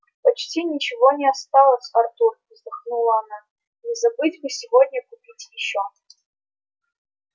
почти ничего не осталось артур вздохнула она не забыть бы сегодня купить ещё